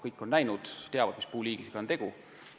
Kõik on seda näinud, teavad, mis puuliigiga on tegemist.